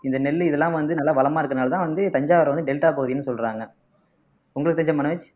இந்த நெல்லு இதெல்லாம் வந்து நல்லா வளமா இருக்கறதுனாலதான் வந்து தஞ்சாவூரை வந்து டெல்டா பகுதின்னு சொல்றாங்க உங்களுக்கு தெரிஞ்ச மனோஜ்